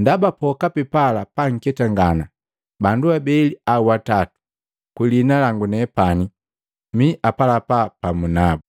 Ndaba pokapi pala paketangana, bandu abeli au atatu kwi liina langu, nepani mii apalapa pamu nabu.